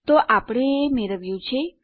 તો આપણે એ મેળવ્યું છે